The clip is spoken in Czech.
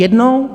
Jednou?